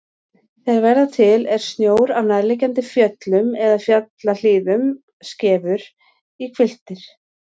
Þeir verða til er snjó af nærliggjandi fjöllum eða fjallahlíðum skefur í hvilftir.